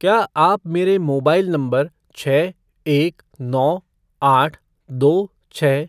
क्या आप मेरे मोबाइल नंबर छः एक नौ आठ दो छः